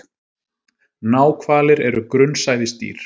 Náhvalir er grunnsævisdýr.